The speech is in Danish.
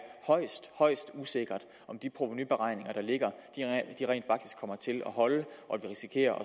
højst højst usikkert om de provenuberegninger der ligger rent faktisk kommer til at holde og at vi risikerer